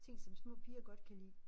Ting som små piger godt kan lide